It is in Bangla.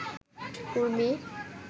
উর্মি